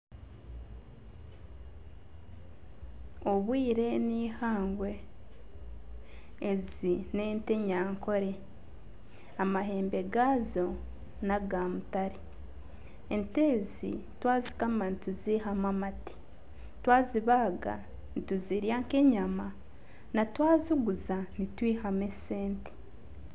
Obwire ni ihangwe. Ezi n'ente enyankole, amahembe gazo naga mutare. Ente ezi twazikama nituzihamu amate. Twazibaaga nituzirya nk'enyama na twaziguza nitwihamu esente.